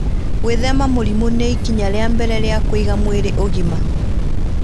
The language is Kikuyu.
Gwĩthema mũrimũ nĩ ikinya rĩa mbere rĩa kũiga mwĩrĩ ũgima.